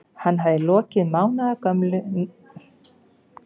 Hann hafði lokið mánaðarlöngu gæsluvarðhaldi.